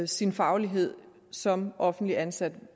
sin faglighed som offentligt ansat